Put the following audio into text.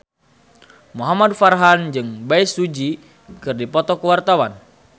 Muhamad Farhan jeung Bae Su Ji keur dipoto ku wartawan